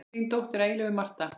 Þín dóttir að eilífu, Marta.